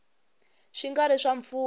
swi nga ri swa mfumo